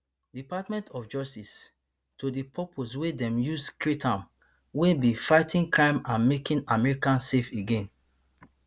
[department of justice] to di purpose wey dem use create am wey be fighting crime and making america safe again